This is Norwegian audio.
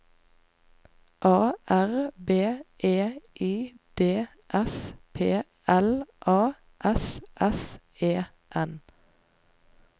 A R B E I D S P L A S S E N